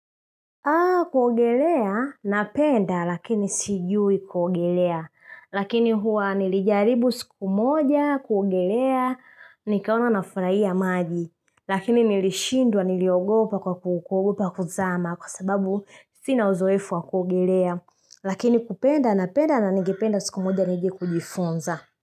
Kuogelea, napenda, lakini sijui kuogelea. Lakini huwa nilijaribu siku moja, kuogelea, nikaona nafurahia maji. Lakini nilishindwa, niliogopa kwa ku kuogopa kuzama, kwa sababu sina uzoefu wa kuogelea. Lakini kupenda, napenda, na ningependa siku moja, nije kujifunza.